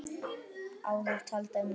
Áður taldar með